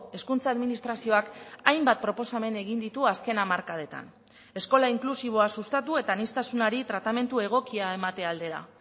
hezkuntza administrazioak hainbat proposamen egin ditu azken hamarkadetan eskola inklusiboa sustatu eta aniztasunari tratamendu egokia emate aldera